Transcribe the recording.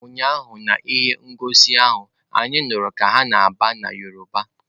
Ụnyaahụ na ihe ngosi ahụ anyị nụrụ ka ha na-agba na Yoruba.